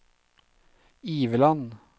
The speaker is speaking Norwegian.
Iveland